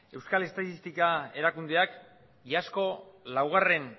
euskal estatistika erakundeak iazko laugarren